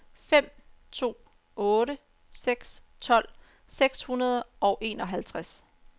fem to otte seks tolv seks hundrede og enoghalvtreds